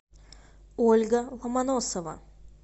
ольга ломоносова